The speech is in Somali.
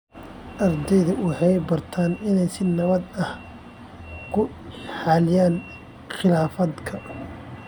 Ardayda waxay bartaan inay si nabad ah ku xalliyaan khilaafaadka.